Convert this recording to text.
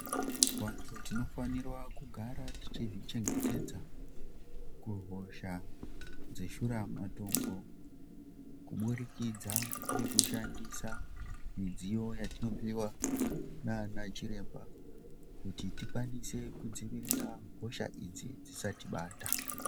Vanthu tinofanirwa kugara tichizvichengetedza, kuhosha dzeshura matongo, kubudikidza ngekushandisa midziyo yatinopuwa naana chiremba, kuti tikwanise kudziirira hosha idzi dzisatibata.